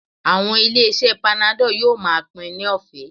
Àwọn ilé-iṣẹ́ panadol yóò máa pín in lọ́fẹ̀ẹ́